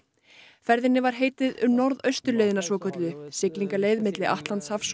ferðinni var heitið um norðausturleiðina svokölluðu siglingaleið milli Atlantshafs og